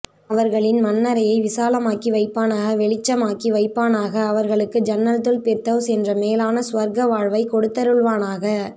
அவர்களின் மண்ணறையை விசாலமாக்கி வைப்பானாக வெளிச்சமாக்கி வைப்பானாக அவர்களுக்கு ஜன்னத்துல் பிர்தவ்ஸ் என்ற மேலான சுவர்க்க வாழ்வை கொடுத்தருள்வானாக